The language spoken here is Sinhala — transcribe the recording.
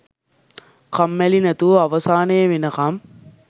කම්මැලි නැතුව අවසානේ වෙනකම්